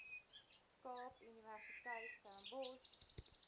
kaap universiteit stellenbosch